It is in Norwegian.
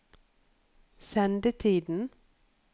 sendetiden